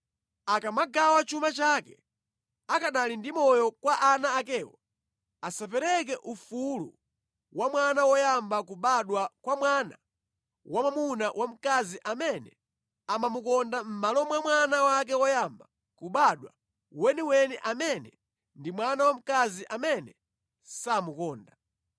akamagawa chuma chake akanali moyo kwa ana akewo, asapereke ufulu wa mwana woyamba kubadwa kwa mwana wamwamuna wa mkazi amene amamukonda mʼmalo mwa mwana wake woyamba kubadwa weniweni amene ndi mwana wamkazi amene samukonda.